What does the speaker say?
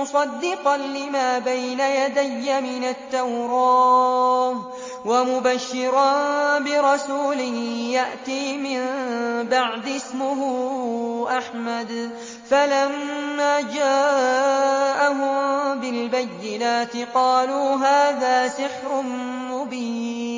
مُّصَدِّقًا لِّمَا بَيْنَ يَدَيَّ مِنَ التَّوْرَاةِ وَمُبَشِّرًا بِرَسُولٍ يَأْتِي مِن بَعْدِي اسْمُهُ أَحْمَدُ ۖ فَلَمَّا جَاءَهُم بِالْبَيِّنَاتِ قَالُوا هَٰذَا سِحْرٌ مُّبِينٌ